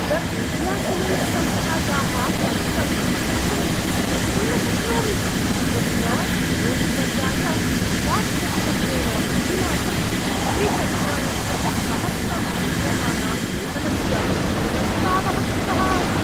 The India Cements संस्थायाः पत्रं अहं विस्मर्तुं न शक्नोमि, यत्र धोनीवर्याय उपाध्यक्षत्वेन प्रतिमासं त्रिचत्वारिंशत्सहस्रं रूप्यकाणां वेतनस्य प्रस्तावः कृतः आसीत्।